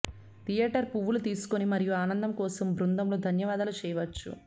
theatre పువ్వులు తీసుకుని మరియు ఆనందం కోసం బృందంలో ధన్యవాదాలు చేయవచ్చు